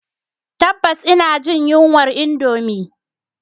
Tabbas ina jin yunwar indomie